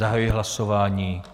Zahajuji hlasování.